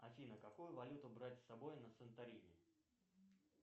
афина какую валюту брать с собой на санторини